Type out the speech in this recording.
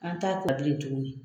An t'a tuguni